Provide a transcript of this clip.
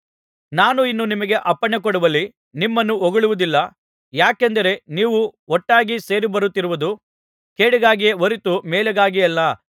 ನಾನು ಇನ್ನು ನಿಮಗೆ ಅಪ್ಪಣೆಕೊಡುವಲ್ಲಿ ನಿಮ್ಮನ್ನು ಹೊಗಳುವುದಿಲ್ಲ ಯಾಕೆಂದರೆ ನೀವು ಒಟ್ಟಾಗಿ ಸೇರಿಬರುತ್ತಿರುವುದು ಕೇಡಿಗಾಗಿಯೇ ಹೊರತು ಮೇಲಿಗಾಗಿಯಲ್ಲ